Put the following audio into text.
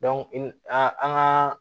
an an gaa